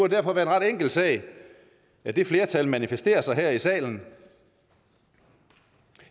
derfor være en ret enkel sag at det flertal manifesterer sig her i salen